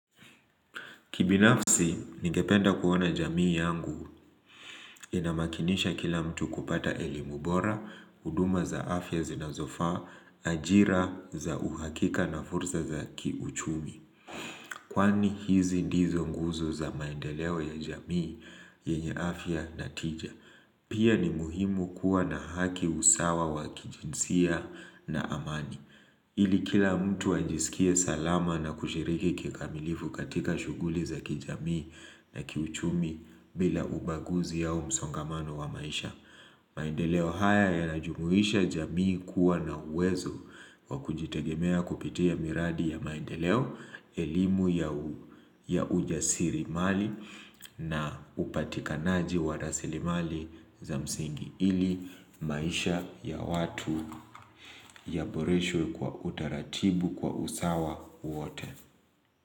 Kibinafsi, ningependa kuona jamii yangu inamakinisha kila mtu kupata elimu bora, huduma za afya zinazofaa, ajira za uhakika na fursa za kiuchumi. Kwani hizi ndizo nguzo za maendeleo ya jamii yenye afya natija. Pia ni muhimu kuwa na haki, usawa wa kijinsia na amani. Ili kila mtu ajisikie salama na kushiriki kikamilifu katika shughuli za kijamii na kiuchumi bila ubaguzi au msongamano wa maisha. Maendeleo haya yanajumuisha jamii kuwa na uwezo kwa kujitegemea kupitia miradi ya maendeleo elimu ya ujasirimali na upatikanaji wa rasilimali za msingi. Ili maisha ya watu yaboreshwe kwa utaratibu kwa usawa wote.